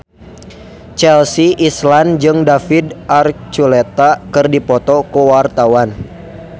Chelsea Islan jeung David Archuletta keur dipoto ku wartawan